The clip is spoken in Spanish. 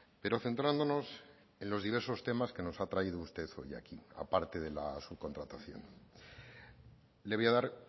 pero centrándonos en los diversos temas que nos ha traído usted hoy aquí a parte de la subcontratación le voy a dar